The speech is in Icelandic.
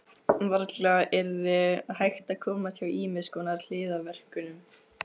Varla yrði hægt að komast hjá ýmiss konar hliðarverkunum.